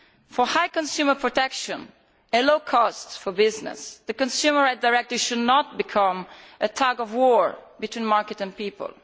For high consumer protection and low costs for business the Consumer Rights Directive should not become a tug of war between market and people.